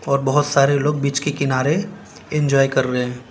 और बहोत सारे लोग बीच के किनारे एंजॉय कर रहे--